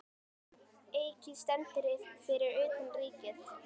Eiki stendur fyrir utan Ríkið.